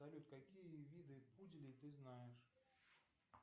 салют какие виды пуделей ты знаешь